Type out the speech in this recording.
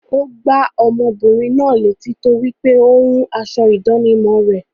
Ó gbá ọmọbìnrin náà létí torípé ó rún aṣọ ìdánimọ̀ rẹ̀.